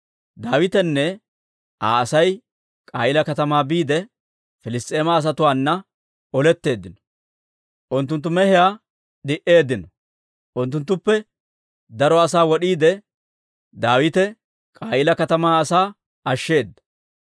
Daawitenne Aa Asay K'a'iila katamaa biide, Piliss's'eema asatuwaanna oletteeddino; unttunttu mehiyaa omooddeeddino. Unttunttuppe daro asaa wod'iide, Daawite K'a'iila katamaa asaa ashsheeda.